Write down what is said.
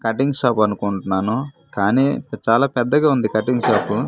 Cutting shop అనుకుంటున్నాను కానీ చాలా పెద్దగా ఉంది కటింగ్ షాపు .